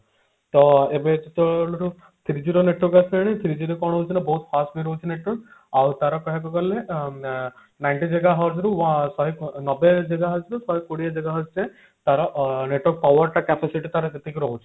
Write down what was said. ତ ଏବେ ସବୁ three G ର network ଆସିଲାଣି three G ରେ କଣ ହାଉଛି ନା ବହୁତ fast ବି ରହୁଛି network ଆଉ ତାର କହିବାକୁ ଗଲେ ଅ ninety gigahertz ରୁ ଶହେ one ନବେ gigahertz ରୁ ଶହେ କୋଡିଏ gigahertz ଯାଏ ତାର network power ଟା capacity ତାର ସେତିକି ରହୁଛି